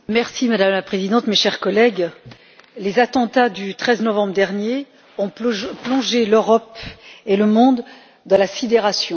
Madame la Présidente, mes chers collègues, les attentats du 13 novembre dernier ont plongé l'Europe et le monde dans la sidération.